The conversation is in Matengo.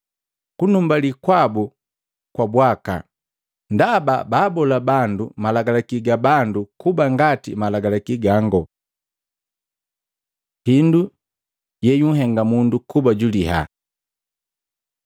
Kunumbali kwabu kwa bwakaa, ndaba baabola bandu malagalaki ga bando kuba ngati malagalaki gango.” Hindu yeyuhenga mundu kuba juliyaa Maluko 7:14-23